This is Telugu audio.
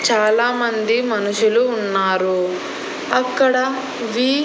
చాలామంది మనుషులు ఉన్నారు అక్కడ వి--